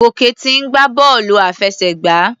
Gòkè ti ń gbá bọ́ọ̀lù àfẹsẹ̀gbá.